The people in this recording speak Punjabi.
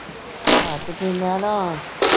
ਹਾਂ ਤੇ ਫੇਰ ਮੈਂ ਨਾ